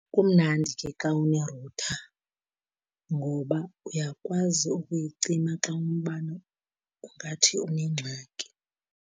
Kumnandi ke xa unerutha ngoba uyakwazi ukuyicima xa umbane ungathi unengxaki.